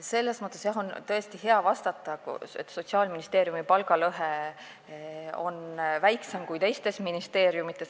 Selles mõttes on tõesti hea vastata, et Sotsiaalministeeriumi palgalõhe on väiksem kui teistes ministeeriumides.